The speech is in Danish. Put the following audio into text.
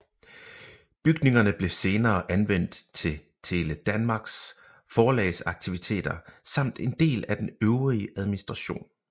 Bygningerne blev senere anvendt til Tele Danmarks forlagsaktiviteter samt en del af den øvrige administration